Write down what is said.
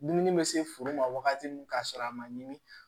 Dumuni bɛ se furu ma wagati min ka sɔrɔ a ma ɲi